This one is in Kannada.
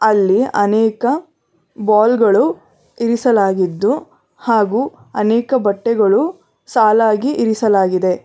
ಅಲ್ಲಿ ಅನೇಕ ಬಾಲ್ ಗಳು ಇರಿಸಲಾಗಿದ್ದು ಹಾಗೂ ಅನೇಕ ಬಟ್ಟೆಗಳು ಸಾಲಾಗಿ ಇರಿಸಲಾಗಿದೆ.